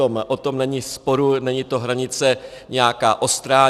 O tom není sporu, není to hranice nějaká ostrá.